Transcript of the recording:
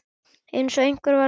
Einsog einhver væri að hlaupa